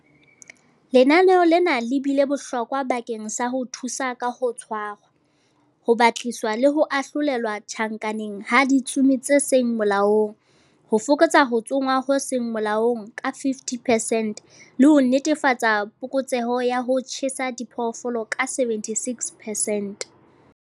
Lenaneo lena le bile bohlokwa bakeng sa ho thusa ka ho tshwarwa, ho batlisiswa le ho ahlolelwa tjhankaneng ha ditsomi tse seng molaong, ho fokotsa ho tsongwa ho seng molaong ka 50 percent, le ho netefatsa phokotseho ya ho tjheha diphoofolo ka 76 percent.